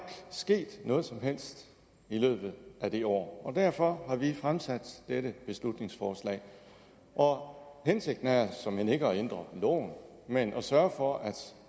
sket noget som helst i løbet af det år derfor har vi fremsat dette beslutningsforslag og hensigten er såmænd ikke at ændre loven men at sørge for at